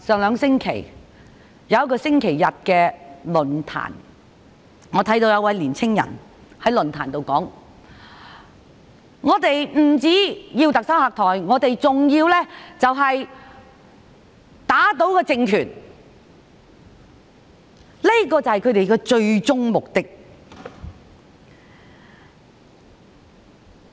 兩星期前在某個星期日的論壇上，我看到一位青年人說他們不單要特首下台，更要打倒政權，這便是他們的最終目的。